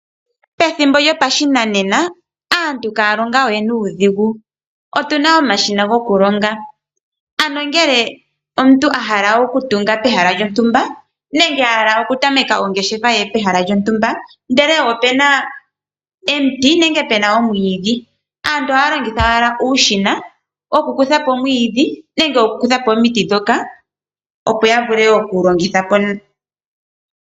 Pethimbo lyopashinane aantu ihaya longo we nuudhigu. Otuna omashina goku longa, ano ngele omuntu a hala oku tunga pehala lyontumba nenge a hala okutameka ongeshefa ye pehala lyontumba ndele opuna omiti nenge puna omwiidhi aantu ohaya longitha owala uushina woku kutha po omwiidhi nenge omiti ndhoka, opo ya vule oku longitha po.